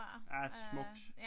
Ja smukt